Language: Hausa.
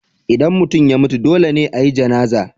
Idan mutum ya mutu, dole ne a yi Janazah.